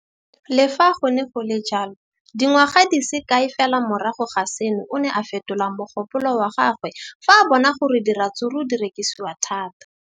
Le fa go le jalo, dingwaga di se kae fela morago ga seno, o ne a fetola mogopolo wa gagwe fa a bona gore diratsuru di rekisiwa thata.